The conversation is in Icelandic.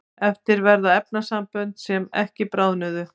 eftir verða efnasambönd sem ekki bráðnuðu